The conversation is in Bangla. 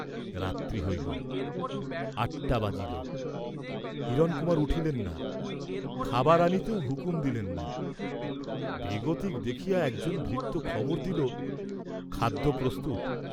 রাত্রি হইল, আটটা বাজিল, হিরণকুমার উঠিলেন না, খাবার আনিতেও হুকুম দিলেন না, বেগতিক দেখিয়া একজন ভৃত্য খবর দিল, খাদ্য প্রস্তুত।